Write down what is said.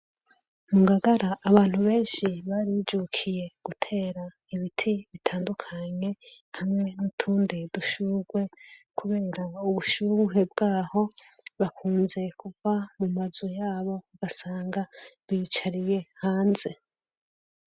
Mu Ngagara abantu benshi barijukiye gutera ibiti bitandukanye hamwe n'utundi dushugwe kubera ubushuhe bwaho. Bakunze kuva mu mazu yabo ugasanga biyicariye hanze.